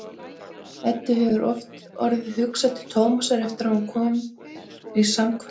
Eddu hefur oft orðið hugsað til Tómasar eftir að hún kom í samkvæmið.